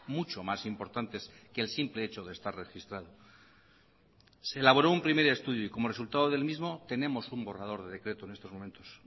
mucho más importantes que el simple hecho de estar registrado se elaboró un primer estudio y como resultado del mismo tenemos un borrador de decreto en estos momentos